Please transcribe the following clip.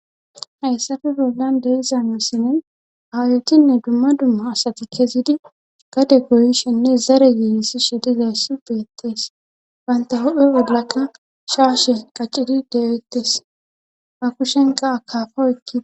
hayssafi bollan de'izaamesinin awayotinne dumma dumma asati kezidi gade goyishinne zare yiini sishe dizayssu beettees banta hudhe ollaka shaashe qaccidi dewettes ha kushenqa akafo ekkia